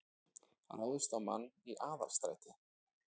Ráðist á mann í Aðalstræti